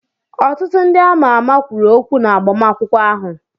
Ọtụtụ ndị ama ama kwuru okwu na agbamakwụkwọ ahụ.